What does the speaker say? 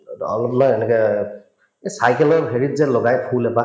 অলপ নহয় এনেকে এই cycle ৰ হেৰিত যে লগাই ফুল এপাহ